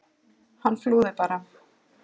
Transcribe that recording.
Hann flúði bara!